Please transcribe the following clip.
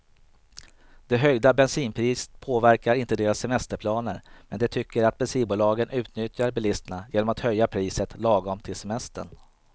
Det höjda bensinpriset påverkar inte deras semesterplaner, men de tycker att bensinbolagen utnyttjar bilisterna genom att höja priset lagom till semestern.